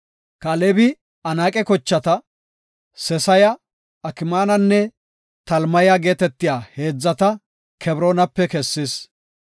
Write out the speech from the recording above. Kaalebi Anaaqe kochata, Sesaya, Akmaananne Talmaya geetetiya heedzata Kebroonape kessis.